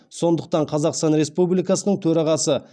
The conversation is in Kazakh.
сондықтан қазақстан республикасының төрағасы